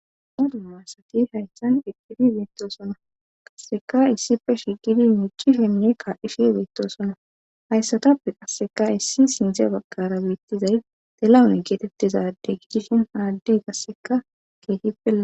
modun aasati hayssan iqqidi beettosona qasseka issipfe shiqidi mici shimye kaa7ifi beyttosona hayssatappe qasseka issi sindze baggara biittizay delawun geetettizade gidishin haaddey qasseka keehippe la